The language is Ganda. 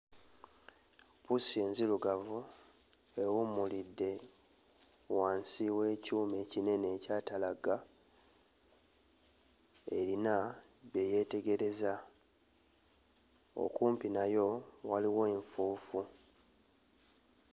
Pusi nzirugavu ewummulidde wansi w'ekyuma ekinene ekyatalagga, erina bye yeetegereza. Okumpi nayo waliwo enfuufu.